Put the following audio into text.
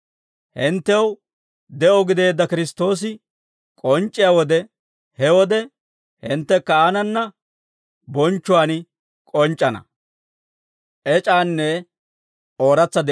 Hinttew de'o gideedda Kiristtoosi k'onc'c'iyaa wode, he wode hinttekka aanana bonchchuwaan k'onc'c'ana.